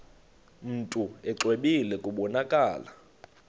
mntu exwebile kubonakala